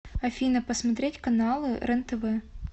афина посмотреть каналы рен тв